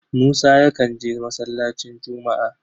Musa yakan je masallacin Jumu'a.